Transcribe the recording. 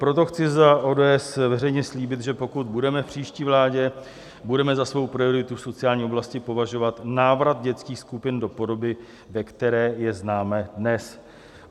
Proto chci za ODS veřejně slíbit, že pokud budeme v příští vládě, budeme za svou prioritu v sociální oblasti považovat návrat dětských skupin do podoby, ve které je známe dnes.